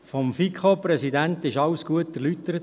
Vom FiKo-Präsidenten wurde alles gut erläutert.